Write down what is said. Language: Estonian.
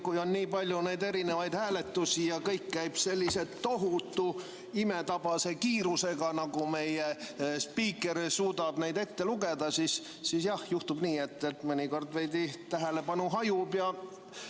Kui on nii palju hääletusi ja kõik käib sellise tohutu, imetabase kiirusega, nagu meie spiiker suudab ette lugeda, siis jah, juhtub nii, et mõnikord tähelepanu veidi hajub.